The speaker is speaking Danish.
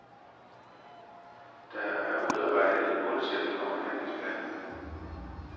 Der er udarbejdet en målsætning og en handlingsplan.